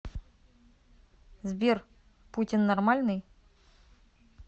сбер путин нормальный